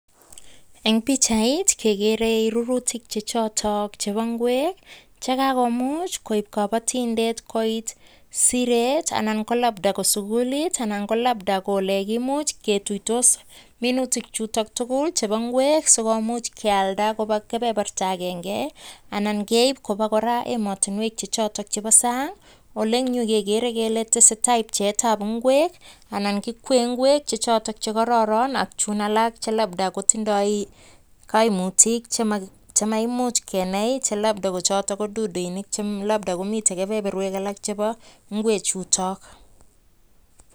Eng pichait, kegeere rurutik chechotok chebo ingwek che kakomuch koip kabatiindet koit siret anan ko labda ko sukulit anan ko labda ko ole kimuch ketuitos minutik chutok tugul chebo ingwek sikimuch kealda koba kebeberta agenge anan keip koba kora emotinwek chechotok chebo sang, ole eng yu, kegeere kele tesetai pcheetab ingwek anan kikwee ingwek chechoto ko kararan ak chuun alak che labda kotindoi kaimutik chemakimuch kenai che labda kochoto ko duduinik che labda komi kebeberwek alak chebo ingwechuto.